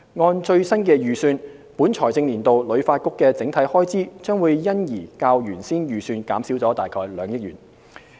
按最新預算，本財政年度旅發局整體開支將因而較原先預算減少了約2億元。